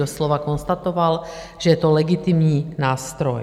Doslova konstatoval, že je to legitimní nástroj.